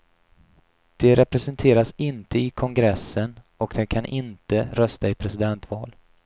De representeras inte i kongressen och de kan inte rösta i presidentval.